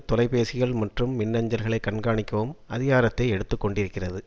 தொலைபேசிகள் மற்றும் மின்னஞ்சல்களை கண்காணிக்கவும் அதிகாரத்தை எடுத்துக்கொண்டிருக்கிறது